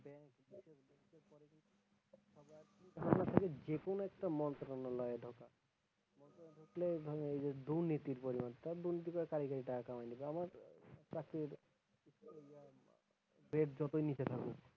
যেকোনো একটা মন্ত্রালয়ে ঢোকা এইযে দুর্নীতির পরিমাণটা যতই নীচে থাকুক,